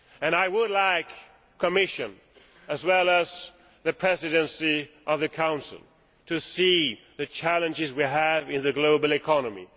I would like the Commission, as well as the Presidency of the Council, to see the challenges that we have in the global economy.